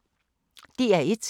DR1